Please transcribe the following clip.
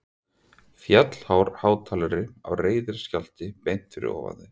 Fjallhár hátalari á reiðiskjálfi beint fyrir ofan þau.